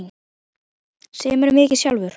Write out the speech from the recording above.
Semurðu mikið sjálfur?